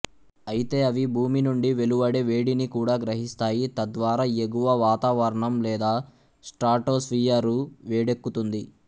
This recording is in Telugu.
అయితే అవి భూమి నుండి వెలువడే వేడిని కూడా గ్రహిస్తాయి తద్వారా ఎగువ వాతావరణం లేదా స్ట్రాటోస్ఫియరు వేడెక్కుతుంది